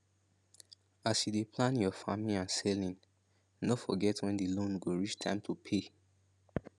as you dey plan your your farming and selling no forget when the loan go reach time to pay